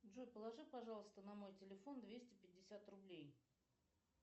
джой положи пожалуйста на мой телефон двести пятьдесят рублей